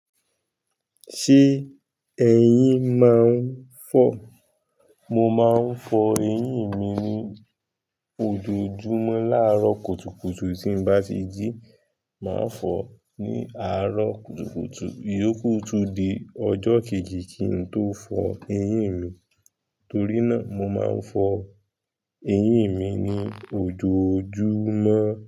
Ṣé eyín máa ń fọ́? Mo máa ń fọ eyín mi ní ojoojúmọ́ láàárọ̀ kùtùkùtù tí n bá ti jí, màá fọ̀ ní àárọ̀ kùtùkùtù. Iyoku tún di ọjọ́ kejì kí n tó fọ eyín mi, torí náà mo máa ń fọ eyín mi ní ojoojúmọ́.